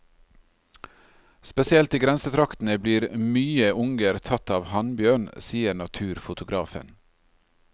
Spesielt i grensetraktene blir mye unger tatt av hannbjørn, sier naturfotografen.